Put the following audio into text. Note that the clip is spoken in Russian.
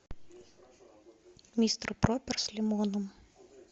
мистер проппер с лимоном